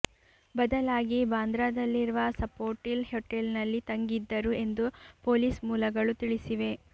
ಬದಲಾಗಿ ಬಾಂದ್ರಾದಲ್ಲಿರುವ ಸಫೋಟಿಲ್ ಹೋಟೆಲ್ನಲ್ಲಿ ತಂಗಿದ್ದರು ಎಂದು ಪೊಲೀಸ್ ಮೂಲಗಳು ತಿಳಿಸಿವೆ